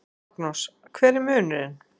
Magnús: Hver er munurinn?